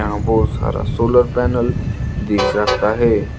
यहां बहोत सारा सोलर पैनल दिख सकता है।